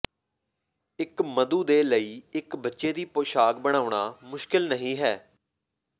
ਇੱਕ ਮਧੂ ਦੇ ਲਈ ਇੱਕ ਬੱਚੇ ਦੀ ਪੋਸ਼ਾਕ ਬਣਾਉਣਾ ਮੁਸ਼ਕਿਲ ਨਹੀਂ ਹੈ